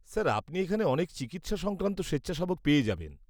-Sir আপনি এখানে অনেক চিকিৎসা সংক্রান্ত স্বেচ্ছাসেবক পেয়ে যাবেন।